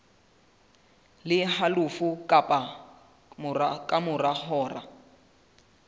le halofo ka mora hora